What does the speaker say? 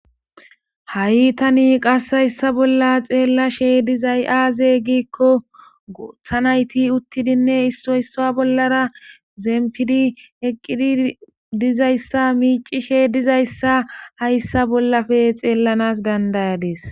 Ha'i tani qas hayssa bolla xeellashe dizay'aaze giikko gooththa nayti uttidinne issoyssa bollara zempidi eqqidi dizayssa miicishe dizayssa hayssa bollafe xeellanas dandayades.